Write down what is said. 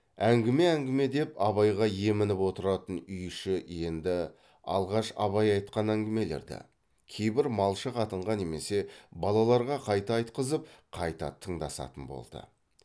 әңгіме әңгіме деп абайға емініп отыратын үй іші енді алғаш абай айтқан әңгімелерді кейбір малшы қатынға немесе балаларға қайта айтқызып қайта тыңдасатын болды